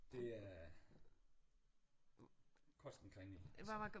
Det er koster en kringle altså